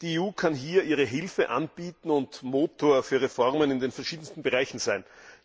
Die EU kann hier ihre Hilfe anbieten und Motor für Reformen in den verschiedensten Bereichen sein.